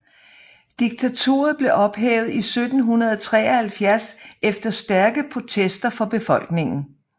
Diktaturet blev ophævet i 1973 efter stærke protester fra befolkningen